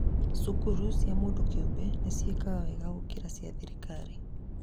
cukuru cia mũndũ kĩũmbe nĩciĩkaga wega gũkĩra cia thirikari